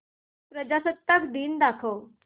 प्रजासत्ताक दिन दाखव